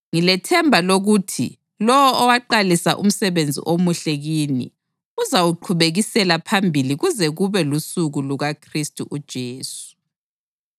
ngilethemba lokuthi lowo owaqalisa umsebenzi omuhle kini uzawuqhubekisela phambili kuze kube lusuku lukaKhristu uJesu.